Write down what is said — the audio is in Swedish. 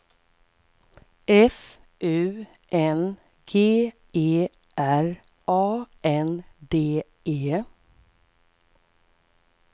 F U N G E R A N D E